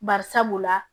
Bari sabula